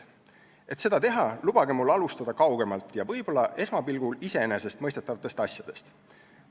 Et seda teha, lubage mul alustada kaugemalt ja võib-olla esmapilgul iseenesestmõistetavatest asjadest.